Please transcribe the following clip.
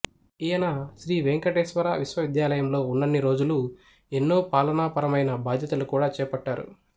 ఈయన శ్రీ వెంకటేశ్వర విశ్వవిద్యాలయంలో ఉన్నన్ని రోజులు ఎన్నో పాలనాపరమయిన బాధ్యతలు కూడా చేపట్టారు